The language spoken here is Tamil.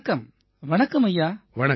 வணக்கம் வணக்கம் ஐயா